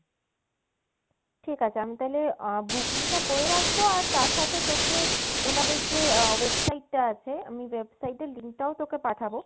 ঠিক আছে আমি তাহলে আ~ booking টা করে রাখবো আর তার সাথে তোকে উনাদের যে website তা আছে, আমি website এর লিংক টাও তোকে পাঠাবো